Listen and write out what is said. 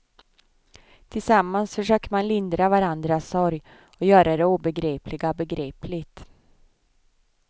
Tillsammans försöker man lindra varandras sorg och göra det obegripliga begripligt.